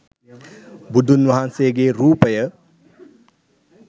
බුදුන් වහන්සේගේ රූපය